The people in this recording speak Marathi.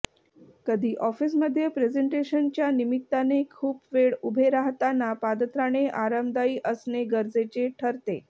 कधी ऑफिसमध्ये प्रेझेंटेशनच्या निमित्ताने खूप वेळ उभे राहताना पादत्राणे आरामदायी असणे गरजेचे ठरते